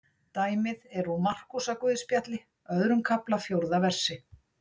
Dæmið er úr Markúsarguðspjalli, öðrum kafla, fjórða versi.